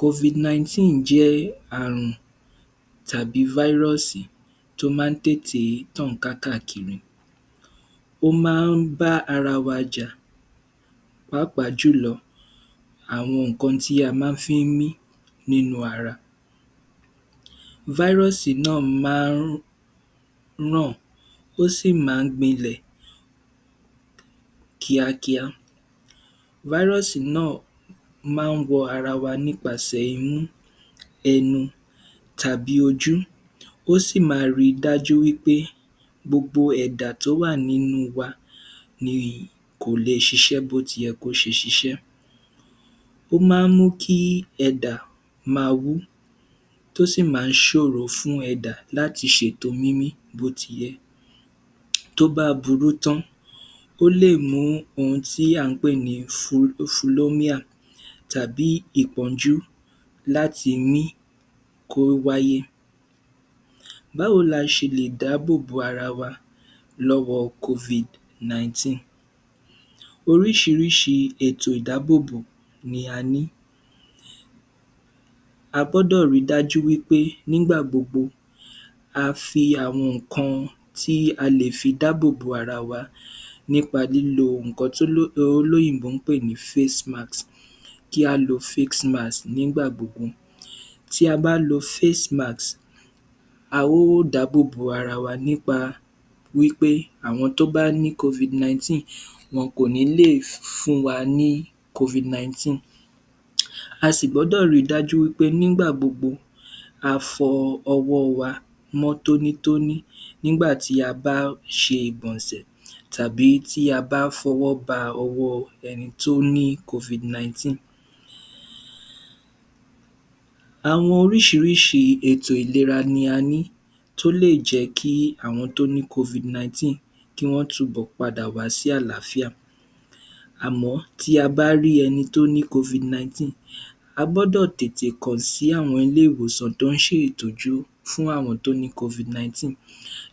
(Covid-19) jẹ́ àrùn tàbi (Virus) tó máa ń tètè tàn ká ká kiri, ó máa ń bá ara wa jà pàápàá jùlọ àwọn nǹkan tí a máa fí ń nínú ara, (Virus) náà máa ń ràn, ó sì máa ń gbinlẹ̀ kíá kíá, (Virus) náà máa ń wọ ara wa nípasẹ̀ imú, ẹnu tàbí ojú, ó sì ma ri dájú wí pé gbogbo ẹ̀dà tó wà nínú wa ni kò lè ṣiṣẹ́ bó ti yẹ kó ṣiṣẹ́, ó máa ń mú kí ẹ̀dà ma wú tó sì máa ń ṣòro fún ẹ̀dà láti ṣètò mímí bó ti yẹ, tó bá burú tán, ó lè mú ohun tí à ń pè ní tàbí ìpọnjú láti mí kó wáyé. Báwo la ṣe lè dábò bò ara wa lọ́wọ (Covid-19), oríṣiríṣi ètò ìdábòbò ni a ní, a gbọ́dọ̀ ri dájú wí pé nígbà gbogbo a fi àwọn nǹkan tí a lè fi dábòbò ara wa nípa lílo nǹkan tó olóyìnbó ń pè ní (Face Mask), kí á lo (Face Mask) nígbà gbogbo, tí a bá lo (Face Mask) a ó dábò bó ara wa nípa wí pé àwọn tó bá ní (Covid-19) wọn kò ní lè fún wa ní (Covid-19), a sì gbọ́dọ̀ ri dájú wí pé nígbà gbogbo a fọ ọwọ́ wa mọ́ tóni-tóni nígbà tí a bá ṣe ìgbọ̀nsẹ̀ tàbí tí a bá fọwọ́ ba ẹni tó ní (Covid-19). Àwọn oríṣiríṣi ètò ìlera ni a ní tó lè jẹ́ kí àwọn tó ní (Covid-19) kí wọ́n tún bọ̀ padà wá sí àláfíà àmọ́ tí a bá rí ẹni tó ní (Covid-19), a gbọ́dọ̀ tètè kàn sí àwọn ilé ìwòsàn tó ń ṣe ìtọ́jú fún àwọn tó ní (Covid-19)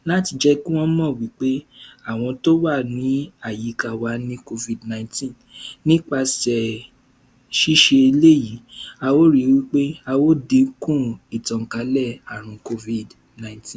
láti jẹ́ kí wọ́n mọ̀ wí pé àwọn tó wà ní àyíká wa ní (Covid-19) nípasẹ̀ ṣiṣẹ eléyìí, a ó ri wí pé a ó díkùn ìtànkálẹ̀ àrùn (Covid-19).